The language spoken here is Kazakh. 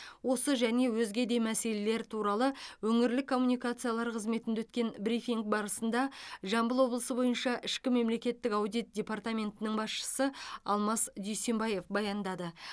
осы және өзге де мәселелер туралы өңірлік коммуникациялар қызметінде өткен брифинг барысында жамбыл облысы бойынша ішкі мемлекеттік аудит департаментінің басшысы алмас дүйсенбаев баяндады